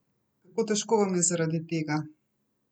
Kako težko vam je zaradi tega?